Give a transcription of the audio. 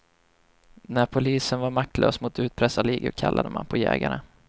När polisen var maktlös mot utpressarligor kallade man på jägarna.